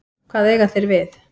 Hvað eiga þeir við?